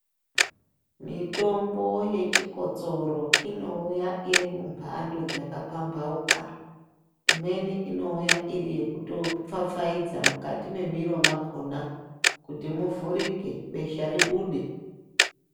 Mitombo yechikotsoro inouya iri mumpando dzakapampauka imweni inouya iri yekutopfapfaidze mukati mwemiro mwakhOna kuti muvhurike besha ribude.